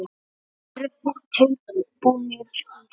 Eruð þið tilbúnir í það?